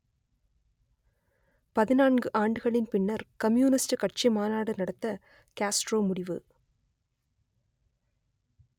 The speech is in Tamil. பதினான்கு ஆண்டுகளின் பின்னர் கம்யூனிஸ்ட் கட்சி மாநாடு நடத்த காஸ்ட்ரோ முடிவு